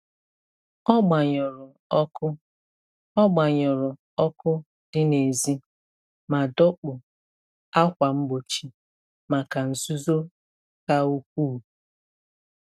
Ọ gbanyụrụ ọkụ Ọ gbanyụrụ ọkụ dị n’èzí ma dọkpụ ákwà mgbochi maka nzuzo ka ukwuu.